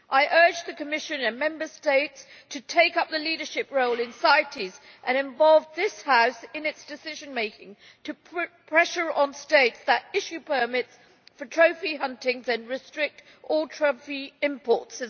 I urge the Commission and Member States to take up a leadership role in CITES and to involve this House in its decision-making to put pressure on states that issue permits for trophy hunting and also to restrict all trophy imports.